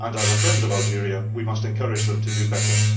As a friend of Algeria, we must encourage them to do better